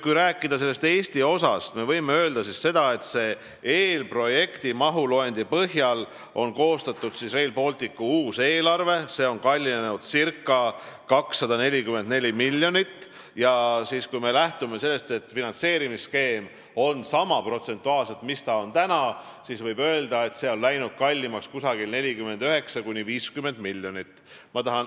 Kui rääkida Eesti osast, siis võib öelda, et eelprojekti mahuloendi põhjal on koostatud Rail Balticu uus eelarve, mis on ca 244 miljonit kallim, ning kui me lähtume sellest, et finantseerimisskeem on protsentuaalselt sama, mis on täna, siis võib öelda, et Eesti osa on läinud kallimaks 49–50 miljonit.